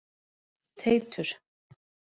Teitur